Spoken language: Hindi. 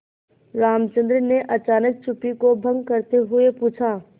रामचंद्र ने अचानक चुप्पी को भंग करते हुए पूछा